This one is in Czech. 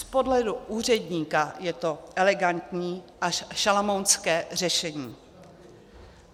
Z pohledu úředníka je to elegantní až šalamounské řešení.